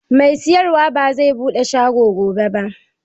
Mai sayarwa bai zai buɗe shago gobe ba.